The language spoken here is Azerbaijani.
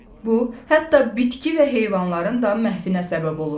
Bu, hətta bitki və heyvanların da məhvinə səbəb olur.